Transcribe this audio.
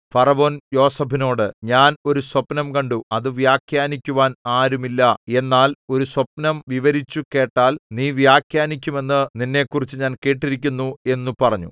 ഫറവോൻ യോസേഫിനോട് ഞാൻ ഒരു സ്വപ്നം കണ്ടു അത് വ്യാഖ്യാനിക്കുവാൻ ആരുമില്ല എന്നാൽ ഒരു സ്വപ്നം വിവരിച്ചു കേട്ടാൽ നീ വ്യാഖ്യാനിക്കുമെന്നു നിന്നെക്കുറിച്ച് ഞാൻ കേട്ടിരിക്കുന്നു എന്നു പറഞ്ഞു